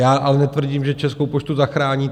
Já ale netvrdím, že Českou poštu zachrání.